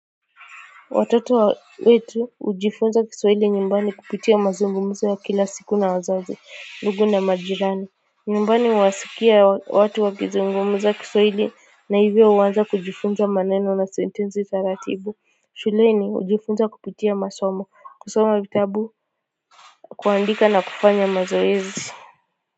Watoto wetu hujifunza Kiswahili nyumbani kupitia mazungumzo wa kila siku na wazazi ndugu na majirani nyumbani huwasikia watu wa kizungumza Kiswahili na hivyo huanza kujifunza maneno na sentensi za ratibu shuleni hujifunza kupitia masomo kusoma vitabu kuandika na kufanya mazoezi.